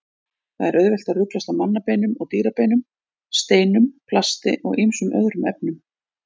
Það er auðvelt að ruglast á mannabeinum og dýrabeinum, steinum, plasti og ýmsum öðrum efnum.